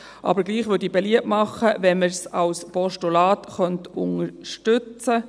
Trotzdem würde ich beliebt machen, den Vorstoss als Postulat zu unterstützen.